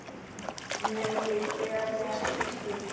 Nei, ég geri ekki slíkt.